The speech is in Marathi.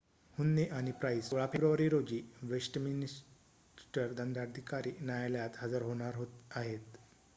हुन्ने आणि प्राइस 16 फेब्रुवारी रोजी वेस्टमिन्स्टर दंडाधिकारी न्यायालयात हजर होणार आहेत